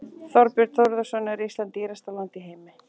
Þorbjörn Þórðarson: Er Ísland dýrasta land í heimi?